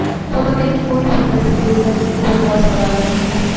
photo ਵੇਖ ਕੇ ਕੋਈ ਵੀ ਦੱਸ ਦੇਵੇਗਾ ਕਿ ਉਹ ਵਿਕਾਸ ਬਰਾਲਾ ਨਹੀਂ ਹੈ